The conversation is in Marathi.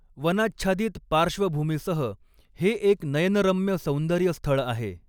वनाच्छादित पार्श्वभूमीसह हे एक नयनरम्य सौंदर्यस्थळ आहे.